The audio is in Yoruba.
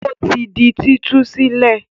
Ó ti di títú sílẹ̀?